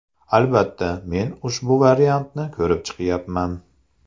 Albatta, men ushbu variantni ko‘rib chiqyapman.